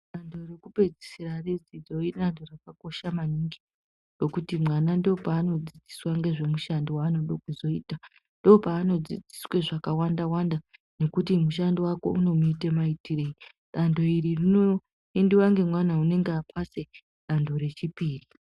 Dantho rekupedzisira redzidzo idantho rakakosha maningi ngokuti mwana ndopanodzidziswa nezvemushando wanoda kuzoita ndopanodzidziswa zvakawanda wanda nekuti mushando wake unouite maitirei. Dantho iri rinoendiwa ngemwana unenge apasa dantho rechipiri.